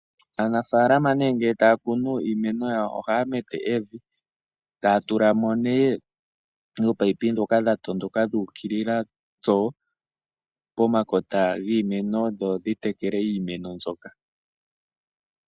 Aanafaalama nee ngele taya kunu iimeno yawo, ohaya mete evi, e taya tula mo nee oopayipi dhoka dha tondoka dhuukilila tsoo pomakota giimeno dho dhitekele iimeno mbyoka.